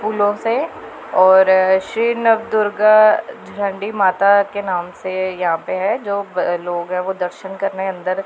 फूलों से और श्री नवदुर्गा चंडी माता के नाम से है यहां पे है जो लोग हैं वो दर्शन कर रहे हैं अंदर--